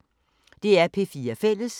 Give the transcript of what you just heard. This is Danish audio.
DR P4 Fælles